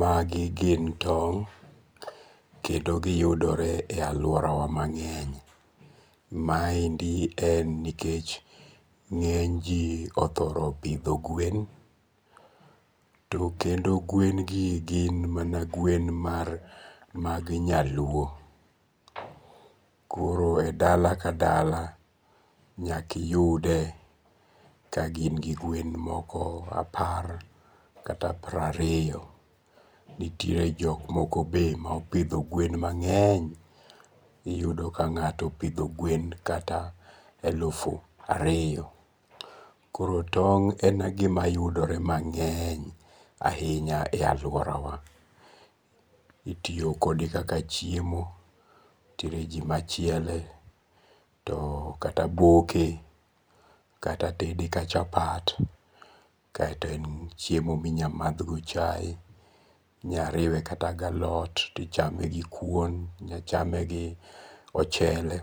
Magi gin tong' kendo giyudore e aluorawa mange'ny, maendi en nikech nge'nyji othore pitho gwen, to kendo gwen gi gin man gwen mag nyaluo, koro e dala ka dala nyakiyude ka gin gwen moko apar kata prariyo nitiere jok moko be opitho gwen moko mange'ny, iyudo ka nga'to opitho gwen kata elufu ariyo, koro tong en gima yudore mange'ny e ahinya e aluorawa, itiyo kode kaka chiemo nitiere ji machiele to kata boke kata tede ka chapat, kaeto en chiemo minyal mathgodo chaye inyariwe kata gi alot to ichame gi kuon, inyal chame kata gi ochele,